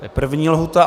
To je první lhůta.